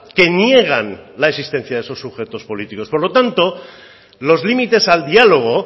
que niegan la existencia de esos sujetos políticos por lo tanto los límites al diálogo